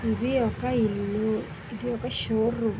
ఇది ఒక ఇల్లు ఇది ఒక శోరూమ్.